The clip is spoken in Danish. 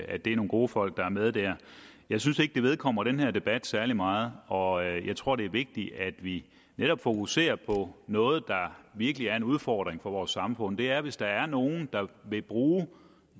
at det er nogle gode folk der er med der jeg synes ikke at det vedkommer denne debat særlig meget og jeg tror det er vigtigt at vi netop fokuserer på noget der virkelig er en udfordring for vores samfund og det er hvis der er nogen der vil bruge